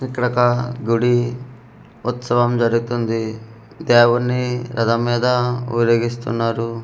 ఇక్కడొక గుడి ఉత్సవం జరుగుతుంది దేవున్ని రథం మీద ఊరేగిస్తున్నారు.